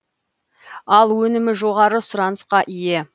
ал өнімі жоғары сұранысқа ие